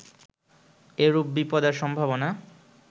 এরূপ বিপদের সম্ভাবনা